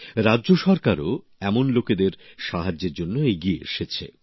রাজ্য সরকারও এমন লোকের সাহায্যের জন্য এগিয়ে এসেছে